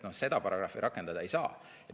Seda paragrahvi rakendada ei saa.